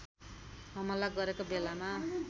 हमला गरेको बेलामा